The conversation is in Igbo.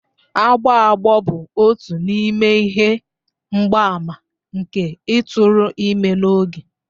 Agbọ agbọ bụ otu n'ime ihe mgbaàmà nke ịtụrụ ime n'oge.